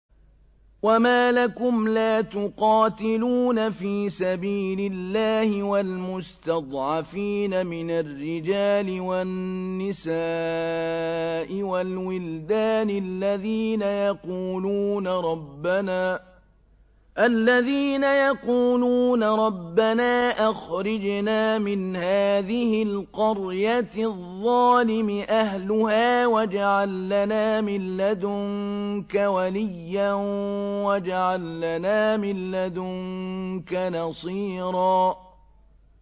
وَمَا لَكُمْ لَا تُقَاتِلُونَ فِي سَبِيلِ اللَّهِ وَالْمُسْتَضْعَفِينَ مِنَ الرِّجَالِ وَالنِّسَاءِ وَالْوِلْدَانِ الَّذِينَ يَقُولُونَ رَبَّنَا أَخْرِجْنَا مِنْ هَٰذِهِ الْقَرْيَةِ الظَّالِمِ أَهْلُهَا وَاجْعَل لَّنَا مِن لَّدُنكَ وَلِيًّا وَاجْعَل لَّنَا مِن لَّدُنكَ نَصِيرًا